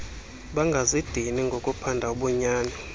bangazidini ngokuphanda ubunyani